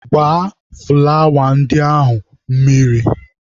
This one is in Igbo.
Gbaa fụlawa ndị ahụ mmiri!.